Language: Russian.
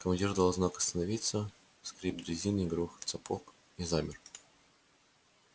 командир дал знак остановиться скрип дрезины и грохот сапог и замер